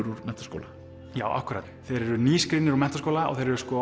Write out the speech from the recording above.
úr menntaskóla þeir eru úr menntaskóla og þeir eru